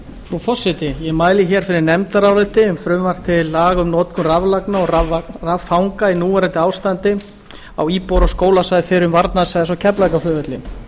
frú forseti ég mæli hér fyrir nefndaráliti um frumvarp til laga um notkun raflagna og raffanga í núverandi ástandi á íbúðar og skólasvæði fyrrum varnarsvæðis á keflavíkurflugvelli